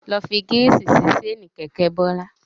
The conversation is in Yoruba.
Lọ fi gírísì sí ṣéènì sí kẹ̀kẹ́ Bọ́lá.